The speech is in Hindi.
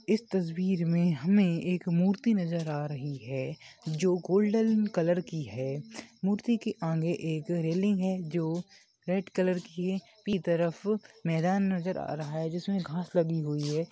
इस तस्वीर में हमे एक मूर्ति नजर आ रही है जो गोल्डन कलर की है मूर्ति के आगे एक रैलिंग है जो रेड कलर की है तरफ़ मैदान नजर आ रहा है जिसमे घास लगी हुई है।